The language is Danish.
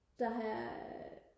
der har jeg